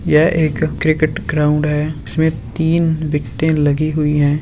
यहाँ एक cricket ground है जिसमें तीन विकेटे लगी हुई हैं।